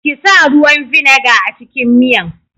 Kisa ruwan vinegar a cikin miyan.